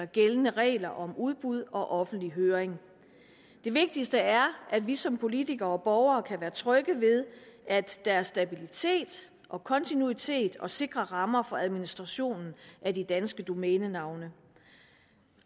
gældende regler om udbud og offentlig høring det vigtigste er at vi som politikere og borgere kan være trygge ved at der er stabilitet og kontinuitet og sikre rammer for administrationen af de danske domænenavne